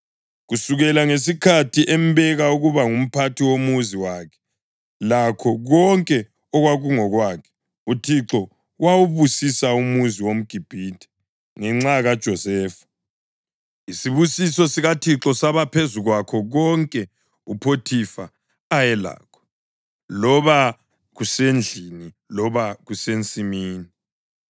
Kusukela ngesikhathi embeka ukuba ngumphathi womuzi wakhe lakho konke okwakungokwakhe, uThixo wawubusisa umuzi womGibhithe ngenxa kaJosefa. Isibusiso sikaThixo saba phezu kwakho konke uPhothifa ayelakho, loba kusendlini loba kusensimini.